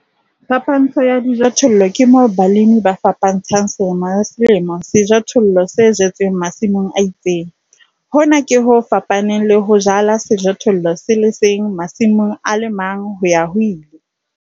Phapantsho ya dijothollo ke moo balemi ba fapantshang selemo le selemo sejothollo se jetsweng masimong a itseng, hona ke ho fapaneng le ho jala sejothollo se le seng masimong a le mang ho-ya-ho-ile.